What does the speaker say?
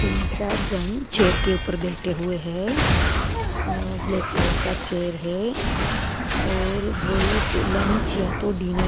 तीन चार जन चेयर के ऊपर बैठे हुए हैं अ ब्लैक कलर का चेयर है और वो लोग लंच या तो डिनर --